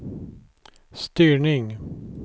styrning